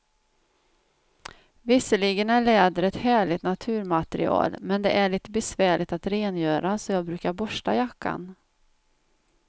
Visserligen är läder ett härligt naturmaterial, men det är lite besvärligt att rengöra, så jag brukar borsta jackan.